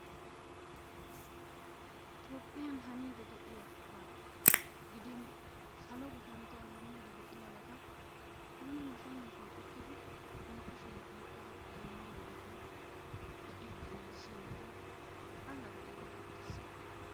Toophphiyan haniiddi diyabaa gidin salo gufantton haniiddi de"iyabata nuuni nuson nuson uttidi nu kushiyan oyqqido zammaanabatun be"iiddinne siyiiddi allaxxiiddi de"eettes.